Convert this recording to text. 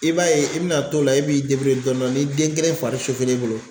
I b'a ye i bɛna t'o la e b'i dɔni dɔni ni den kelen fari e bolo